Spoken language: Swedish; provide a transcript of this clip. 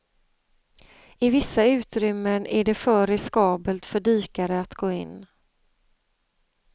I vissa utrymmen är det för riskabelt för dykare att gå in.